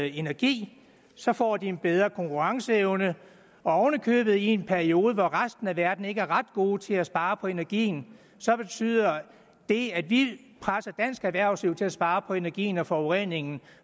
energi så får de en bedre konkurrenceevne oven i købet i en periode hvor resten af verden ikke er ret god til at spare på energien så betyder det at vi presser dansk erhvervsliv til at spare på energien og forureningen